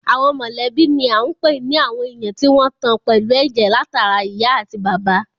Àwọn mọ̀lẹ́bí ni à ń pè ní àwọn èèyàn tí wọ́n tan pẹ̀lú ẹ̀jẹ̀ látara ìyá àti bàbá